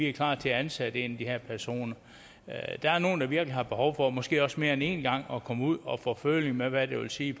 er klar til at ansætte en af de her personer der er nogle der virkelig har behov for måske også mere end en gang at komme ud og få føling med hvad det vil sige